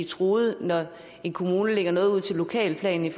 truet når en kommune lægger noget ud til lokalplanen